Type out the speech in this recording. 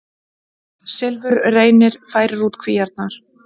Silfurreynir færir út kvíarnar